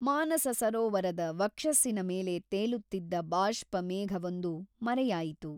ಮಾನಸಸರೋವರದ ವಕ್ಷಸ್ಸಿನ ಮೇಲೆ ತೇಲುತ್ತಿದ್ದ ಬಾಷ್ಪಮೇಘವೊಂದು ಮರೆಯಾಯಿತು.